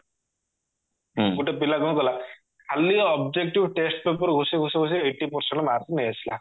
ଗୋଟେ ପିଲା କଣ କଲା ଖାଲି objective test paper କୁ ଘୋଷି ଘୋଷି ଘୋଷି ଘୋଷି eighty percent marks ନେଇଆସିଲା